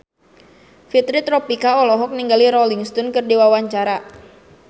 Fitri Tropika olohok ningali Rolling Stone keur diwawancara